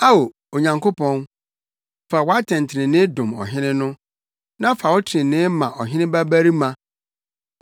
Ao, Onyankopɔn, fa wʼatɛntrenee dom ɔhene no, na fa wo trenee ma ɔhene babarima.